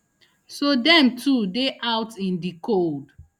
so dem too dey out in di cold